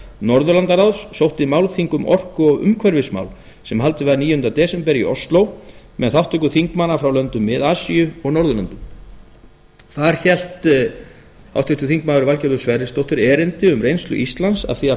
norðurlandaráðs sótti málþing um orku og umhverfismál sem haldið var níunda desember í ósló með þátttöku þingmanna frá löndum mið asíu og norðurlöndunum þar hélt háttvirtur þingmaður valgerður sverrisdóttir erindi um reynslu íslands af því að